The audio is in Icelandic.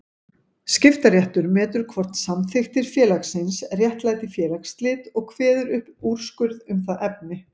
Skiptaréttur metur hvort samþykktir félagsins réttlæti félagsslit og kveður upp úrskurð um það efni.